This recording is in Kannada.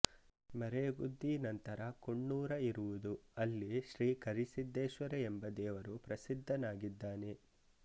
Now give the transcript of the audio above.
ಮರೇಗುದ್ದಿ ನಂತರ ಕೊಣ್ಣೂರ ಇರುವುದು ಅಲ್ಲಿ ಶ್ರೀ ಕರಿಸಿದ್ದೇಶ್ವರ ಎಂಬ ದೇವರು ಪ್ರಸಿದ್ಡನಾಗಿದ್ದಾನೆ